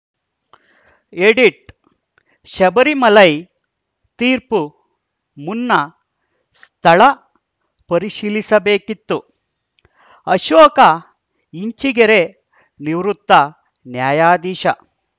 edit Sabarimala ತೀರ್ಪು ಮುನ್ನ ಸ್ಥಳ ಪರಿಶೀಲಿಸ ಬೇಕಿತ್ತು ಅಶೋಕ ಇಂಚಿಗೆರೆ ನಿವೃತ್ತ ನ್ಯಾಯಾಧೀಶ